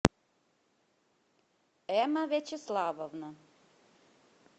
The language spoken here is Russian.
эмма вячеславовна